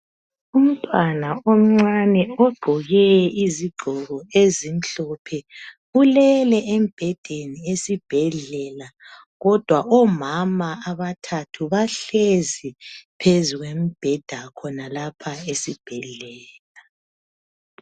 Umntwana omncane ogqoke izigqoko ezimhlophe ulele embhedeni esibhedlela kodwa omama abathathu bahlezi phezu kwemibheda khonalapha esibhedlela.